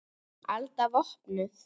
Alda vopnuð!